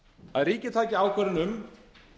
að ríkið taki ákvörðun um